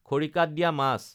খৰিকাত দিয়া মাছ